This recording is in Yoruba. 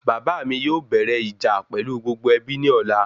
Bàbá mi yóò bẹ́rẹ ìjà pẹlú gbogbo ẹbí ní ọ̀la